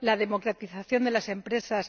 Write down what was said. la democratización de las empresas